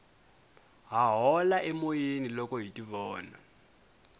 ha hola emoyeni loko hi tivona